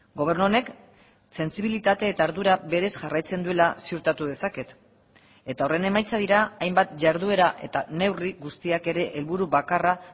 gobernu honek sentsibilitate eta ardura berez jarraitzen duela ziurtatu dezaket eta horren emaitza dira hainbat jarduera eta neurri guztiak ere helburu bakarra